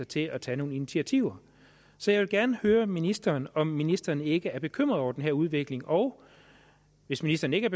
til at tage nogle initiativer så jeg vil gerne høre ministeren om ministeren ikke er bekymret over den her udvikling og hvis ministeren ikke